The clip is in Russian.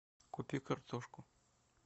купи картошку